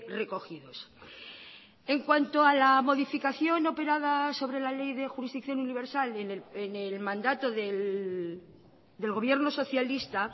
recogidos en cuanto a la modificación operada sobre la ley de jurisdicción universal en el mandato del gobierno socialista